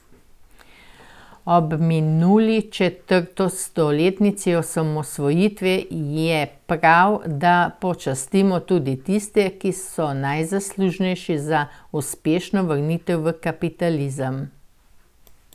Ob minuli četrtstoletnici osamosvojitve je prav, da počastimo tudi tiste, ki so najzaslužnejši za uspešno vrnitev v kapitalizem.